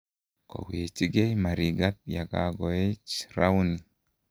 kowechigei Marigat ya koech rauni